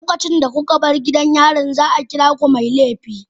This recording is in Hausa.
Lokacin da kuka bar gidan yarin, za a kira ku mai laifi.